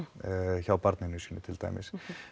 hjá barninu sínu til dæmis